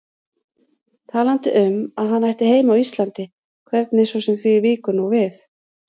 Talaði um að hann ætti heima á Íslandi, hvernig svo sem því víkur nú við.